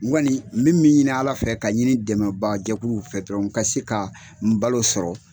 Ŋɔni n bɛ min ɲini ala fɛ ka ɲini dɛmɛbaa jɛkuluw fɛ dɔrɔn ka se ka n balo sɔrɔ.